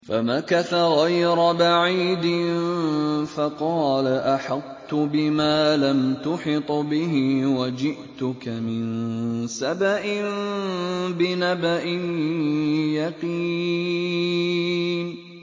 فَمَكَثَ غَيْرَ بَعِيدٍ فَقَالَ أَحَطتُ بِمَا لَمْ تُحِطْ بِهِ وَجِئْتُكَ مِن سَبَإٍ بِنَبَإٍ يَقِينٍ